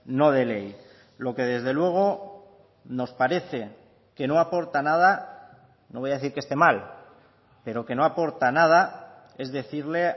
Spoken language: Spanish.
no de ley lo que desde luego nos parece que no aporta nada no voy a decir que esté mal pero que no aporta nada es decirle